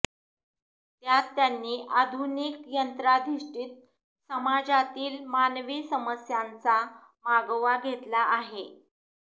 त्यात त्यांनी आधुनिक यंत्राधिष्ठित सामाजातील मानवी समस्यांचा मागोवा घेतला आहे